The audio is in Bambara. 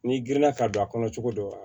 N'i girinna ka don a kɔnɔ cogo dɔ la